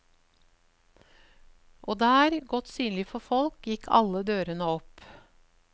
Og der, godt synlig for folk, gikk alle dørene opp.